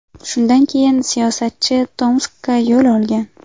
Shundan keyin siyosatchi Tomskka yo‘l olgan.